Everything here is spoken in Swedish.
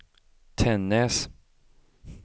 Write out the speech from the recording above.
Tännäs